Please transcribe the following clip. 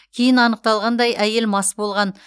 кейін анықталғандай әйел мас болған